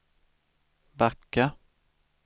backa